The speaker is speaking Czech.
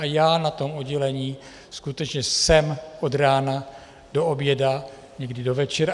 A já na tom oddělení skutečně jsem od rána do oběda, někdy do večera.